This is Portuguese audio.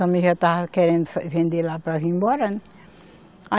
Também já estava querendo vender lá para vir embora, né.